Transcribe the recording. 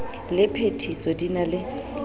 le phethiso di na le